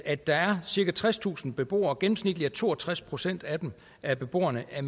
at der er cirka tredstusind beboere gennemsnitlig er to og tres procent af af beboerne af